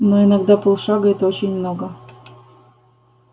но иногда полшага это очень много